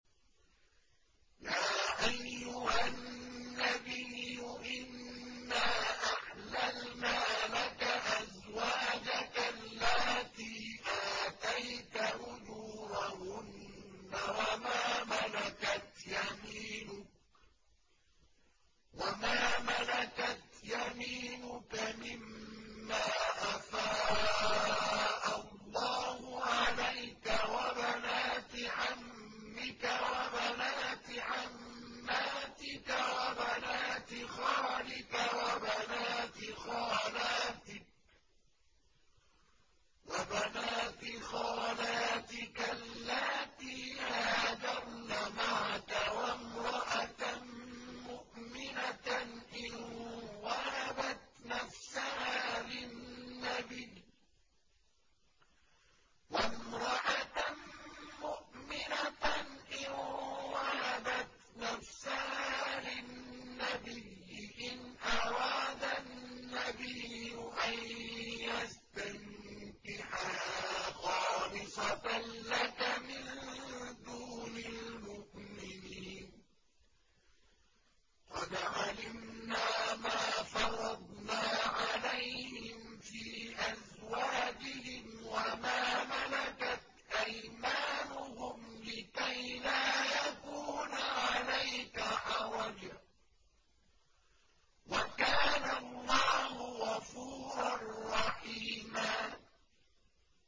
يَا أَيُّهَا النَّبِيُّ إِنَّا أَحْلَلْنَا لَكَ أَزْوَاجَكَ اللَّاتِي آتَيْتَ أُجُورَهُنَّ وَمَا مَلَكَتْ يَمِينُكَ مِمَّا أَفَاءَ اللَّهُ عَلَيْكَ وَبَنَاتِ عَمِّكَ وَبَنَاتِ عَمَّاتِكَ وَبَنَاتِ خَالِكَ وَبَنَاتِ خَالَاتِكَ اللَّاتِي هَاجَرْنَ مَعَكَ وَامْرَأَةً مُّؤْمِنَةً إِن وَهَبَتْ نَفْسَهَا لِلنَّبِيِّ إِنْ أَرَادَ النَّبِيُّ أَن يَسْتَنكِحَهَا خَالِصَةً لَّكَ مِن دُونِ الْمُؤْمِنِينَ ۗ قَدْ عَلِمْنَا مَا فَرَضْنَا عَلَيْهِمْ فِي أَزْوَاجِهِمْ وَمَا مَلَكَتْ أَيْمَانُهُمْ لِكَيْلَا يَكُونَ عَلَيْكَ حَرَجٌ ۗ وَكَانَ اللَّهُ غَفُورًا رَّحِيمًا